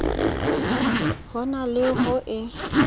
ho na le ho e